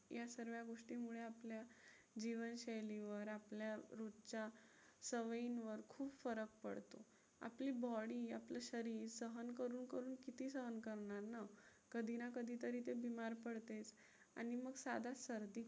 जीवनशैलीवर, आपल्या रोजच्या सवयींवर खूप फरक पडतो. आपली body आपलं शरीर सहन करून करून किती सहन करणार ना. कधी ना कधी तरी ते बीमार पडतेच आणि मग साधं सर्दी